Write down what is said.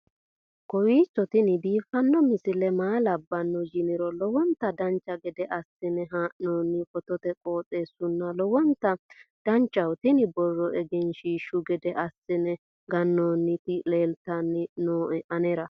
kowiicho tini biiffanno misile maa labbanno yiniro lowonta dancha gede assine haa'noonni foototi qoxeessuno lowonta danachaho. tini borro egenshshiishu gede assine gannoonniti leeltanni nooe anera